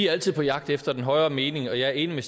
altid på jagt efter den højere mening og jeg er enig med